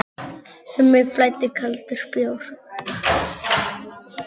Um mig flæddi kaldur bjór.